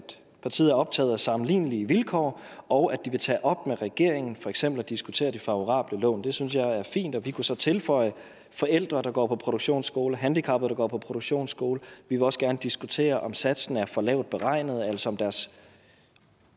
partiet er optaget af sammenlignelige vilkår og at de vil tage op med regeringen for eksempel at diskutere de favorable lån det synes jeg er fint og vi kunne så tilføje forældre der går på produktionsskole og handicappede der går på produktionsskole vi vil også gerne diskutere om satsen er for lavt beregnet altså